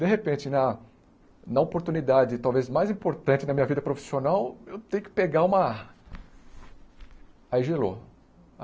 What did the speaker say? De repente, na na oportunidade talvez mais importante da minha vida profissional, eu tenho que pegar uma... Aí gelou.